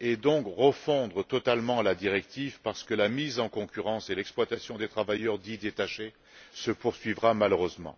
et donc refondre totalement la directive parce que la mise en concurrence et l'exploitation des travailleurs dits détachés se poursuivront malheureusement.